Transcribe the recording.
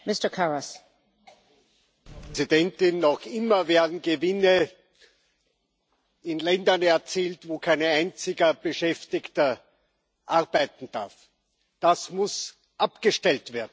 Frau Präsidentin! Noch immer werden Gewinne in Ländern erzielt, wo kein einziger Beschäftigter arbeiten darf. Das muss abgestellt werden.